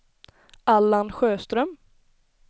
Allan Sjöström